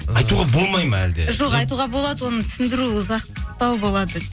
айтуға болмайды ма әлде жоқ айтуға болады оны түсіндіру ұзақтау болады